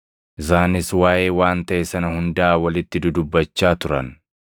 Isaanis waaʼee waan taʼe sana hundaa walitti dudubbachaa turan.